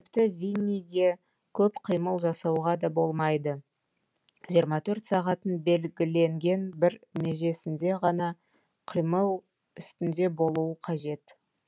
тіпті винниге көп қимыл жасауға да болмайды жиырма төрт сағаттың белгіленген бір межесінде ғана қимыл үстінде болуы қажет